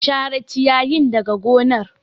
Share ciyayin daga gonar.